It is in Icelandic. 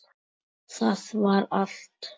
Það var allt.